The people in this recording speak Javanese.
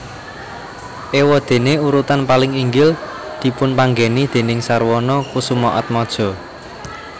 Éwadéné urutan paling inggil dipunpanggèni déning Sarwono Kusumaatmadja